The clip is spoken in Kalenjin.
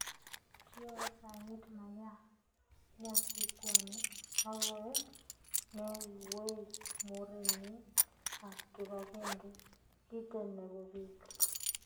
kiimu saiti Maya Nyasutyani agoek neiywei murenig ak kipagenge giteen nepo piig